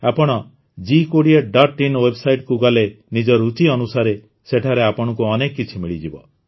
ଆପଣ ଜି୨୦ଇନ୍ ୱେବ୍ସାଇଟ୍ କୁ ଗଲେ ନିଜ ରୁଚି ଅନୁସାରେ ସେଠାରେ ଆପଣଙ୍କୁ ଅନେକ କିଛି ମିଳିଯିବ